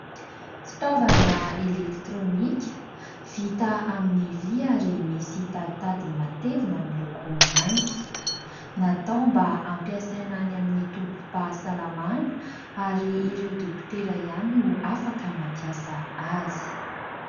Fitaovana elektronika vita amin'ny vy ary misy taditadiny matevina miloko mainty. Natao mba hampiasaina any amin'ny tobim-pahasalamana ary ireo dokotera ihany no afaka mampiasa azy.